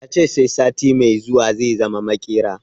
Ya ce sai sati mai zuwa zai zama maƙera